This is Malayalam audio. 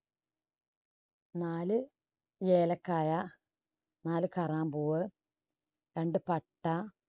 നാല് ഏലക്കായ, നാല് കറാമ്പൂവ്, രണ്ടു പട്ട